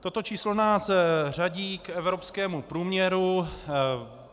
Toto číslo nás řadí k evropskému průměru.